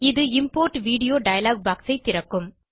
இது import video dialogue box ஐ திறக்கும்